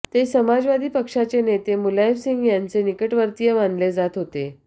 ते समाजवादी पक्षाचे नेते मुलायमसिंह यांचे निकटवर्तीय मानले जात होते